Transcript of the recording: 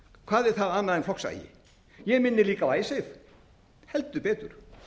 hvað er það annað en flokksagi ég minni líka á icesave heldur betur